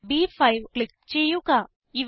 cell ബ്5 click ചെയ്യുക